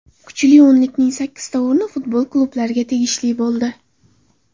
Kuchli o‘nlikning sakkizta o‘rni futbol klublariga tegishli bo‘ldi.